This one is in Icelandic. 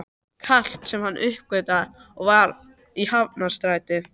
Kalt, sem hann uppgötvaði að var í Hafnarstræti.